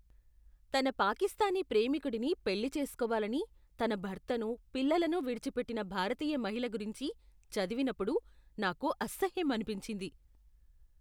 తన పాకిస్తానీ ప్రేమికుడిని పెళ్ళి చేసుకోవాలని తన భర్తను, పిల్లలను విడిచిపెట్టిన భారతీయ మహిళ గురించి చదివినప్పుడు నాకు అసహ్యమనిపించింది.